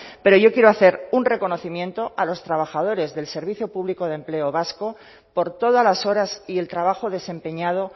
pero yo quiero hacer un reconocimiento a los trabajadores del servicio público de empleo vasco por todas las horas y el trabajo desempeñado